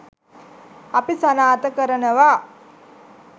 අපි සනාථ කරනවා.